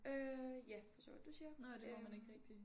Øh ja forstår jeg godt du siger øh